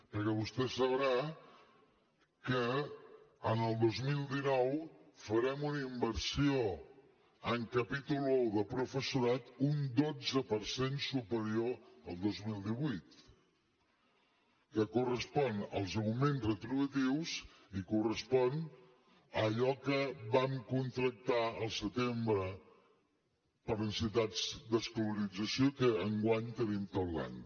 perquè vostè sabrà que en el dos mil dinou farem una inversió en capítol i de professorat un dotze per cent superior al dos mil divuit que correspon als augments retributius i correspon a allò que vam contractar al setembre per necessitats d’escolarització i que enguany tenim tot l’any